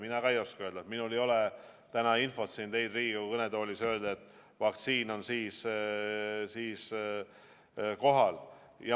Mina ka ei oska öelda, minul ei ole täna siin Riigikogu kõnetoolis infot, et teile öelda, et vaktsiin on siis või siis kohal.